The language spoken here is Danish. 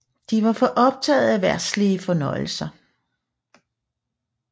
De var for optaget af verdslige fornøjelser